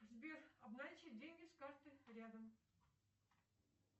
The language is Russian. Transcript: сбер обналичить деньги с карты рядом